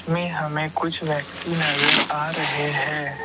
में हमें कुछ व्यक्ति नजर आ रहे हैं।